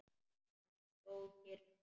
Hann stóð kyrr núna.